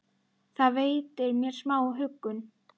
Það veitir mér smá huggun.